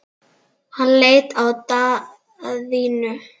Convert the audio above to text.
Hann leit á Daðínu.